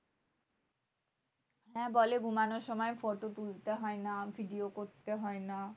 হ্যাঁ বলে ঘুমানোর সময় photo তুলতে হয় না। video করতে হয় না।